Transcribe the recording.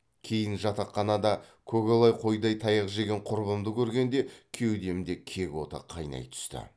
кейін жатақханада көкала қойдай таяқ жеген құрбымды көргенде кеудемде кек оты қайнай түсті